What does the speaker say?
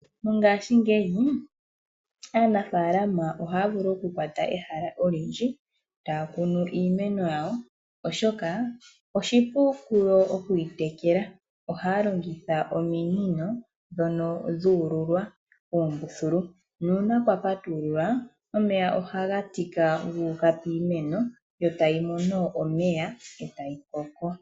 Mongashingeyi aanafalama ihaya vulu oku kwata ehala olindji taya kunu iimeno oyawo oshoka oshipu okuyi tekela. Ohaya longitha ominino ndhono dhuululwa uumbuthulu uuna kwapatululwa omeya ohaga tika guuka piimeno etayi koko.